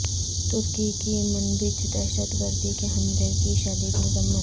ترکی کی منبج دہشت گردی کے حملے کی شدید مذمت